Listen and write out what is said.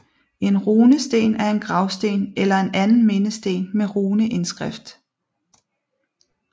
En runesten er en gravsten eller en anden mindesten med runeindskrift